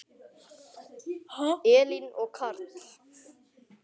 Elín og Karl.